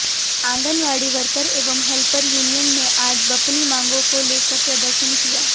anganwadi worker एवं helper union ने आज बपनी मांगों को लेकर प्रदर्शन किया